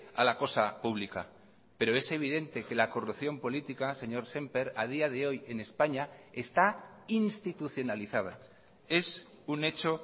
a la cosa pública pero es evidente que la corrupción política señor sémper a día de hoy en españa esta institucionalizada es un hecho